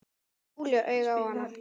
Þá kemur Júlía auga á hana.